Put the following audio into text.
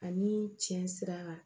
Ani tiɲɛ sira